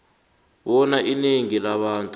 bona inengi labantu